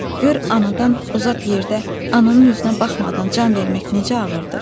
Gör anadan uzaq yerdə ananın üzünə baxmadan can vermək necə ağırdır.